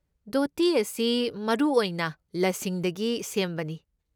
ꯙꯣꯇꯤ ꯑꯁꯤ ꯃꯔꯨꯑꯣꯏꯅ ꯂꯁꯤꯡꯗꯒꯤ ꯁꯦꯝꯕꯅꯤ꯫